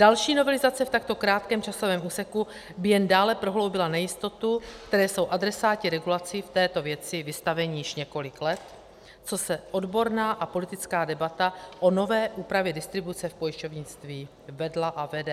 Další novelizace v takto krátkém časovém úseku by jen dále prohloubila nejistotu, které jsou adresáti regulací v této věci vystaveni již několik let, co se odborná a politická debata o nové úpravě distribuce v pojišťovnictví vedla a vede.